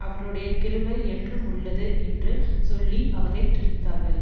அவருடைய கிருபை என்றுமுள்ளது என்று சொல்லி அவரை துதித்தார்கள்